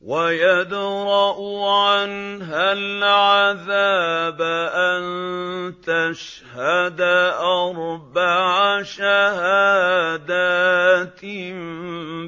وَيَدْرَأُ عَنْهَا الْعَذَابَ أَن تَشْهَدَ أَرْبَعَ شَهَادَاتٍ